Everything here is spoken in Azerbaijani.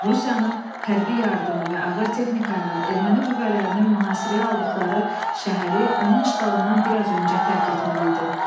Rusiyanın hərbi yardımı və ağır texnika ilə erməni qüvvələrinin mühasirəyə aldıqları şəhəri, onun işğalından biraz öncə tərk etməli idim.